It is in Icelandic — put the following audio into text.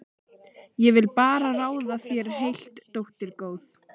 Ég vil bara ráða þér heilt, dóttir góð.